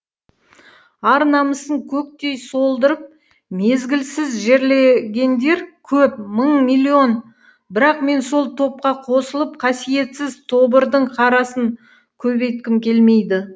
ар намысын көктей солдырып мезгілсіз жерлегендер көп мың миллион бірақ мен сол топқа қосылып қасиетсіз тобырдың қарасын көбейткім келмейді